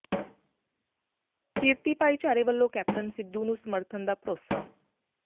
ਕਿਰਤੀ ਭਾਈਚਾਰੇ ਵੱਲੋਂ ਕੈਪਟਨ ਸਿੱਧੂ ਨੂੰ ਸਮਰਥਨ ਦਾ ਭਰੋਸਾ